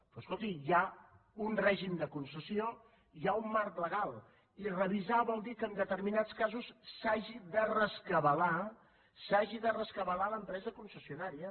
però escolti hi ha un règim de concessió hi ha un marc legal i revisar vol dir que en determinats casos s’hagi de rescabalar s’hagi de rescabalar l’empresa concessionària